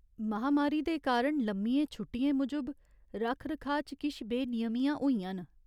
महामारी दे कारण लम्मियें छुट्टियें मूजब रक्ख रखाऽ च किश बेनियमियां होइयां न।